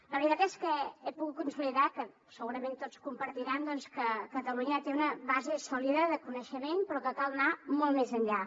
la veritat és que he pogut consolidar que segurament tots compartiran que catalunya té una base sòlida de coneixement però que cal anar molt més enllà